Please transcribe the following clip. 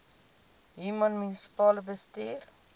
human munisipale bestuurder